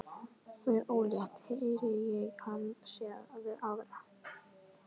Hún er ólétt, heyri ég hana segja við aðra.